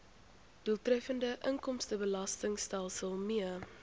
doeltreffende inkomstebelastingstelsel mee